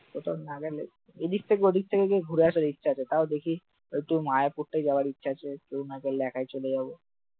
ওটার নাগালে এদিক থেকে ওদিক থেকে একটু ঘুরে আসার ইচ্ছা আছে তাও দেখি, তো মায়াপুরীতে যাওয়ার ইচ্ছা আছে কেউ না গেলে একাই চলে যাব